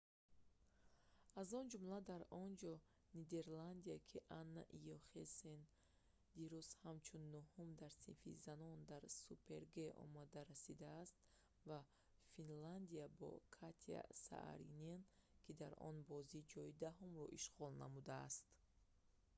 аз он ҷумла дар онҷо нидерландия ки анна йохемсен дирӯз ҳамчун нӯҳум дар синфи занон дар супер-г омада расидааст ва финляндия бо катя сааринен ки дар он бозӣ ҷойи даҳумро ишғол намудааст